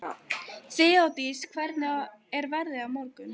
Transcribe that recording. Þeódís, hvernig er veðrið á morgun?